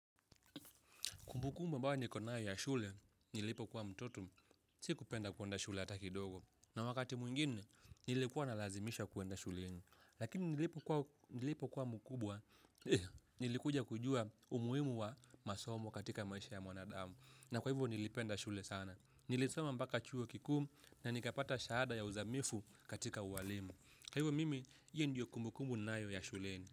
Kumbukumbu ambayo niko nayo ya shule, nilipo kuwa mtoto, sikupenda kuenda shule hataki kidogo. Na wakati mwingine, nilikuwa na lazimishwa kuenda shuleni. Lakini nilipo kuwa mkubwa, nilikuja kujua umuhimu wa masomu katika maisha ya mwanadamu. Na kwa hivyo nilipenda shule sana. Nilisoma mpaka chuo kikuu na nikapata shahada ya uzamifu katika ualimu. Kwa hivyo mimi, hiyo ndiyo kumbukumbu ninayo ya shuleni.